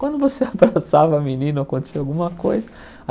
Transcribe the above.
Quando você abraçava a menina, ou acontecia alguma coisa.